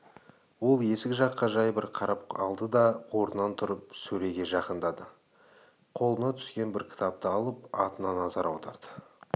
ол есік жаққа жай бір қарап алды да орнынан тұрып сөреге жақындады қолына түскен бір кітапты алып атына назар аударды